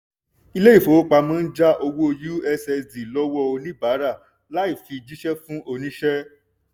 ilé ìfowópamọ́ ń já owó ussd lọ́wọ́ oníbàárà láì fi jíṣẹ́ fún oníṣẹ́.